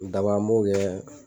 an b'o kɛ